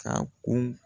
Ka kun